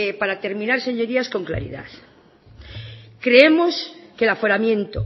para terminar señorías con claridad creemos que el aforamiento